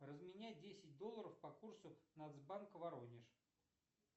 разменяй десять долларов по курсу нацбанка воронеж